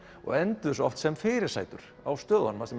og enduðu oft sem fyrirsætur á stöðunum þar sem